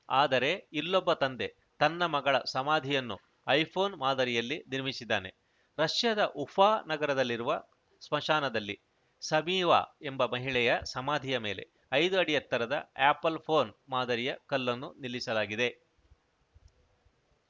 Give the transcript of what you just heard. ಆದರೆ ಇಲ್ಲೊಬ್ಬ ತಂದೆ ತನ್ನ ಮಗಳ ಸಮಾಧಿಯನ್ನು ಐಫೋನ್‌ ಮಾದರಿಯಲ್ಲಿ ನಿರ್ಮಿಸಿದ್ದಾನೆ ರಷ್ಯಾದ ಉಫಾ ನಗರದಲ್ಲಿರುವ ಸ್ಮಾಶಾನದಲ್ಲಿ ಶಮೀವಾ ಎಂಬ ಮಹಿಳೆಯ ಸಮಾಧಿಯ ಮೇಲೆ ಐದು ಅಡಿ ಎತ್ತರದ ಆ್ಯಪಲ್‌ ಫೋನ್‌ ಮಾದರಿಯ ಕಲ್ಲನ್ನು ನಿಲ್ಲಿಸಲಾಗಿದೆ